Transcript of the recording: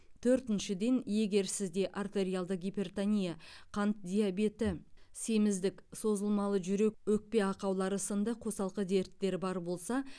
төртіншіден егер сізде артериалды гипертония қант диабеті семіздік созылмалы жүрек өкпе ақаулары сынды қосалқы дерттер бар болса